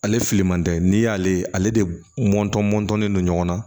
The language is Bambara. Ale fili man tɛ n'i y'ale ale de mɔtɔn mɔntɔnnen don ɲɔgɔn na